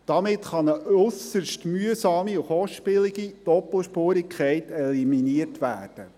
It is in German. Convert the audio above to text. Damit kann ein äusserst mühsame und kostspielige Doppelspurigkeit eliminiert werden.